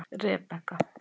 Rebekka